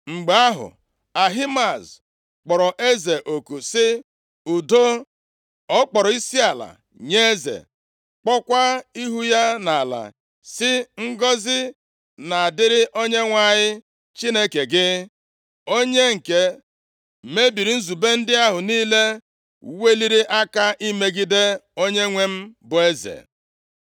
Mgbe ahụ, Ahimaaz kpọrọ eze oku sị, “Udo!” Ọ kpọrọ isiala nye eze. Kpuokwa ihu ya nʼala sị, “Ngọzị na-adịrị Onyenwe anyị Chineke gị. Onye nke mebiri nzube ndị ahụ niile weliri aka imegide onyenwe m bụ eze.”